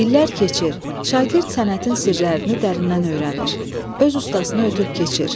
İllər keçir, şagird sənətin sirlərini dərindən öyrənir, öz ustasını ötüb keçir.